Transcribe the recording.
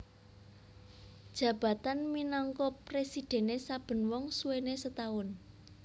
Jabatan minangka presidhène saben wong suwene setaun